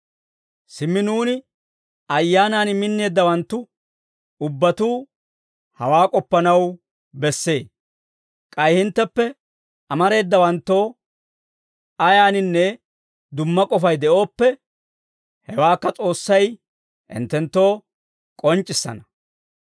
Simmi nuuni Ayyaanan minneeddawanttu ubbatuu hawaa k'oppanaw bessee; k'ay hintteppe amareedawanttoo ayaaninne dumma k'ofay de'ooppe, hewaakka S'oossay hinttenttoo k'onc'c'issana.